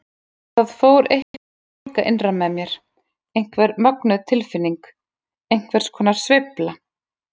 Það fór eitthvað að ólga innra með mér, einhver mögnuð tilfinning, einhvers konar sveifla.